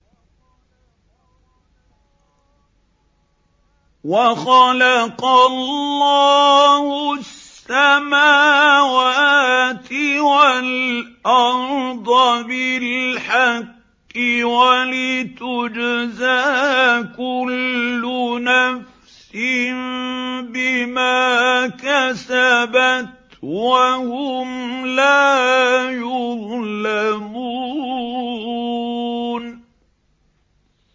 وَخَلَقَ اللَّهُ السَّمَاوَاتِ وَالْأَرْضَ بِالْحَقِّ وَلِتُجْزَىٰ كُلُّ نَفْسٍ بِمَا كَسَبَتْ وَهُمْ لَا يُظْلَمُونَ